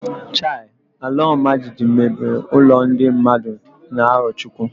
Chai! Alaọmajijiji mebiri ụlọ ndị mmadụ na Arọchukwu.